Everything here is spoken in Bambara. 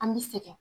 An bɛ sɛgɛn